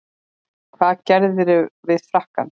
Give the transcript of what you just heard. En hvað gerðirðu við frakkann?